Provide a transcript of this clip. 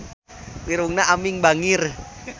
Irungna Aming bangir